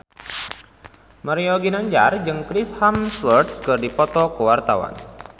Mario Ginanjar jeung Chris Hemsworth keur dipoto ku wartawan